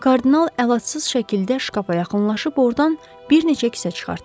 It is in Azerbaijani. Kardinal əlatsız şəkildə şkapa yaxınlaşıb ordan bir neçə kisə çıxartdı.